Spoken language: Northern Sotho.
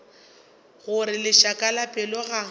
gore lešaka la pelo ga